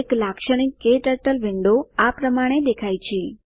એક લાક્ષણિક ક્ટર્ટલ વિંડો આ પ્રમાણે દેખાય છે